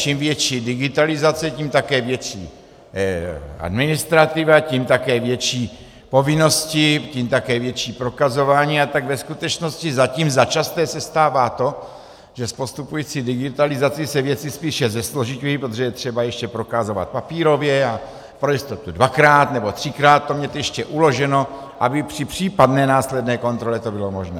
Čím větší digitalizace, tím také větší administrativa, tím také větší povinnosti, tím také větší prokazování, a tak ve skutečnosti zatím začasté se stává to, že s postupující digitalizací se věci spíše zesložiťují, protože je třeba ještě prokazovat papírově a pro jistotu dvakrát nebo třikrát to mít ještě uloženo, aby při případné následné kontrole to bylo možné.